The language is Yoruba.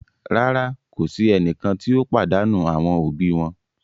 Rara, ko si ẹnikan ti o padanu awọn obi wọn